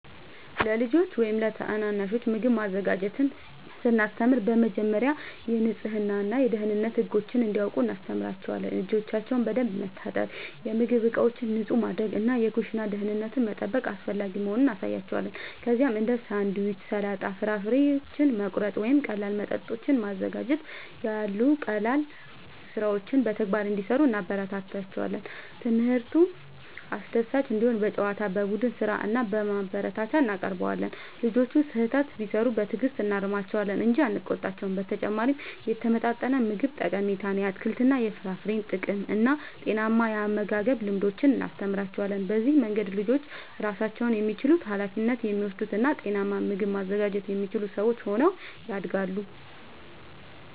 ለልጆች ወይም ታናናሾች ምግብ ማዘጋጀትን ስናስተምር በመጀመሪያ የንጽህና እና የደህንነት ህጎችን እንዲያውቁ እናስተምራቸዋለን። እጆቻቸውን በደንብ መታጠብ፣ የምግብ ዕቃዎችን ንጹህ ማድረግ እና የኩሽና ደህንነትን መጠበቅ አስፈላጊ መሆኑን እናሳያቸዋለን። ከዚያም እንደ ሳንድዊች፣ ሰላጣ፣ ፍራፍሬ መቁረጥ ወይም ቀላል መጠጦችን ማዘጋጀት ያሉ ቀላል ሥራዎችን በተግባር እንዲሠሩ እናበረታታቸዋለን። ትምህርቱ አስደሳች እንዲሆን በጨዋታ፣ በቡድን ሥራ እና በማበረታቻ እናቀርበዋለን። ልጆቹ ስህተት ቢሠሩ በትዕግሥት እናርማቸዋለን እንጂ አንቆጣቸውም። በተጨማሪም የተመጣጠነ ምግብ ጠቀሜታን፣ የአትክልትና የፍራፍሬ ጥቅምን እና ጤናማ የአመጋገብ ልምዶችን እናስተምራቸዋለን። በዚህ መንገድ ልጆች ራሳቸውን የሚችሉ፣ ኃላፊነት የሚወስዱ እና ጤናማ ምግብ ማዘጋጀት የሚችሉ ሰዎች ሆነው ያድጋሉ።